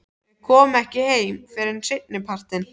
Þau koma ekki heim fyrr en seinnipartinn.